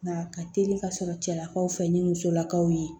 Nka ka teli ka sɔrɔ cɛlakaw fɛ ni musolakaw ye